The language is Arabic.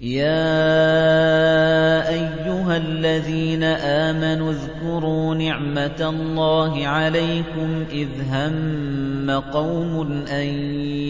يَا أَيُّهَا الَّذِينَ آمَنُوا اذْكُرُوا نِعْمَتَ اللَّهِ عَلَيْكُمْ إِذْ هَمَّ قَوْمٌ أَن